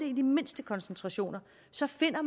i det mindste koncentrationer så finder